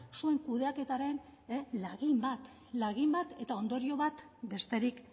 zuen kudeaketaren lagin bat lagin bat eta ondorio bat besterik